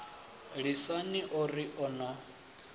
lisani o ri o no